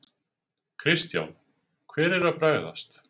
Kristján: Hver er að bregðast?